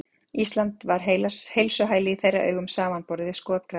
Ísland var heilsuhæli í þeirra augum samanborið við skotgrafirnar.